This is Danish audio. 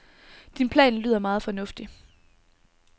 Din plan lyder meget fornuftig.